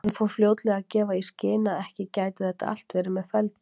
Hann fór fljótlega að gefa í skyn að ekki gæti þetta allt verið með felldu.